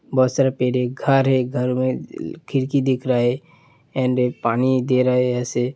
बोहोत सारा पेड़ है । एक घर है घर में खिड़की दिख रहा है एंड पानी दे रहे हैं ऐसे --